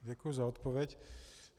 Děkuji za odpověď.